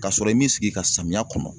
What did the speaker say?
Ka sɔrɔ i m'i sigi i ka samiya kɔnɔ.